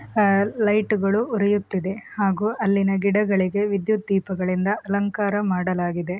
ಆಹ್ಹ್ light ಗಳು ಉರಿಯುತ್ತಿದೆ ಹಾಗೂ ಅಲ್ಲಿಯ ಗಿಡಗಳಿಗೆ ವಿದ್ಯುತ್ ದೀಪಗಳಿಂದ ಅಲಂಕಾರ ಮಾಡಲಾಗಿದೆ.